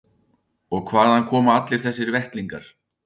Og hvaðan koma allir þessir vettlingar?